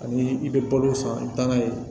Ani i bɛ balo san i taa n'a ye